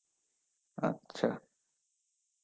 আচ্ছা.